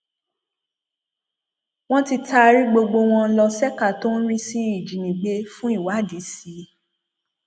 wọn ti taari gbogbo wọn ló ṣèkà tó ń rí sí ìjínigbé fún ìwádìí sí i